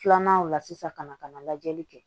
Filanan o la sisan ka na ka na lajɛli kɛ